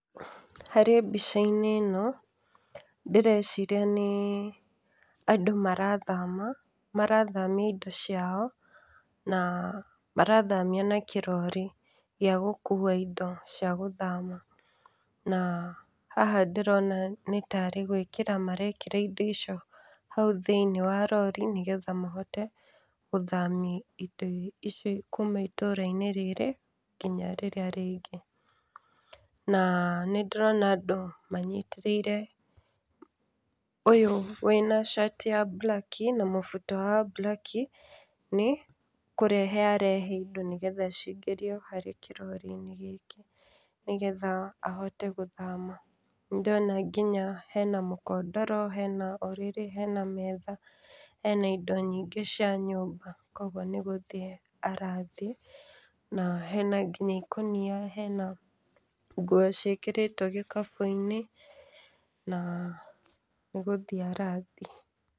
Harĩ mbica-inĩ ĩno ndĩreciria nĩ andũ marathama marathamia indo ciao na marathamia na kĩrori gĩa gũkua indo cia gũthama. Na haha ndĩrona nĩ tarĩ gwĩkĩra marekĩra indo icio hau thĩinĩ wa rori nĩ getha mahote gũthamia indo icio kuma itũra-inĩ rĩrĩ nginya rĩrĩa rĩngĩ. Na nĩ ndĩrona andũ manyitĩrĩire ũyũ wĩna cati ya mburaki na mũbuto wa mburaki nĩ kũrehe arehe indo nĩ hgetha cingĩrio harĩ kĩrori-inĩ gĩkĩ nĩ gethya ahote gũthama. Nĩ ndĩrona nginya hena mũkondoro hena ũrĩrĩ hena metha hena indo nyingĩ cia nyũmba koguo nĩ gũthiĩ arathiĩ. Na hena nginya ikonia hena nguo ciĩkĩrĩtwo gĩkabu-inĩ na nĩ gũthiĩ arathiĩ.